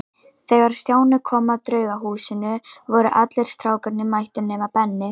Þegar Stjáni kom að Draugahúsinu voru allir strákarnir mættir nema Benni.